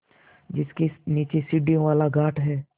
जिसके नीचे सीढ़ियों वाला घाट है